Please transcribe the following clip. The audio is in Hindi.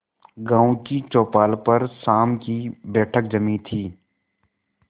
गांव की चौपाल पर शाम की बैठक जमी थी